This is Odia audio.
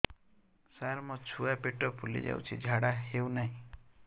ସାର ମୋ ଛୁଆ ପେଟ ଫୁଲି ଯାଉଛି ଝାଡ଼ା ହେଉନାହିଁ